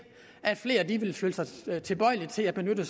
at flere vil være tilbøjelige til at benytte